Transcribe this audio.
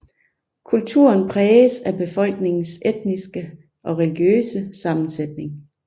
Kulturen præges af befolkningens etniske og religiøse sammensætning